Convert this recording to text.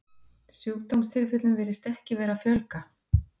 sjúkdómstilfellum virðist ekki vera að fjölga